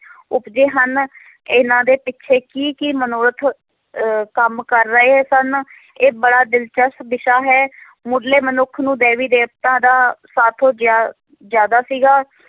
ਉਪਜੇ ਹਨ ਇਹਨਾਂ ਦੇ ਪਿੱਛੇ ਕੀ ਕੀ ਮਨੋਰਥ ਅਹ ਕੰਮ ਕਰ ਰਹੇ ਸਨ ਇਹ ਬੜਾ ਦਿਲਚਸਪ ਵਿਸ਼ਾ ਹੈ ਮੁੱਢਲੇ ਮਨੁੱਖ ਨੂੰ ਦੈਵੀ ਦੇਵਤਾਂ ਦਾ ਸਾਥੋਂ ਜ਼ਿਆ~ ਜ਼ਿਆਦਾ ਸੀਗਾ।